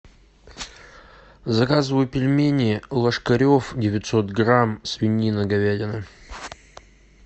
заказывай пельмени ложкарев девятьсот грамм свинина говядина